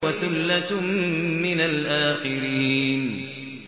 وَثُلَّةٌ مِّنَ الْآخِرِينَ